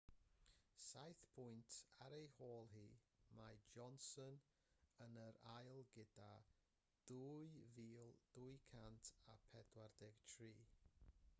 saith pwynt ar ei hôl hi mae johnson yn ail gyda 2,243